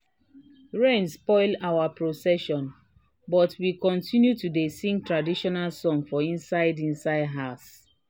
rain spoil our procession but we continue to dey sing traditional song for inside inside house.